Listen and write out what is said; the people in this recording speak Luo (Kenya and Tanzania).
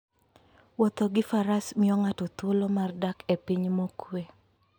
Wuotho gi Faras miyo ng'ato thuolo mar dak e piny mokuwe.